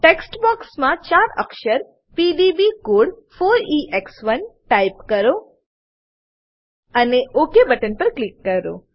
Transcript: text બોક્સમાં ચાર અક્ષર પીડીબી કોડ 4એક્સ1 ટાઈપ કરો અને ઓક બટન પર ક્લિક કરો